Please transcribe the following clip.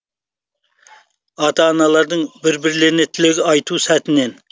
ата аналардың бір бірлеріне тілек айту сәтінен